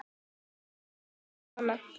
Þetta er best svona.